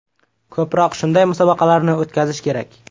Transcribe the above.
Ko‘proq shunday musobaqalarni o‘tkazish kerak.